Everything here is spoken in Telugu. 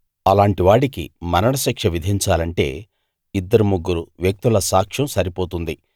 అలాంటి వాడికి మరణశిక్ష విధించాలంటే ఇద్దరు ముగ్గురు వ్యక్తుల సాక్ష్యం సరిపోతుంది